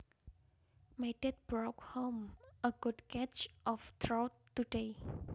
My dad brought home a good catch of trout today